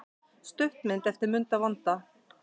Stuttmynd eftir Munda vonda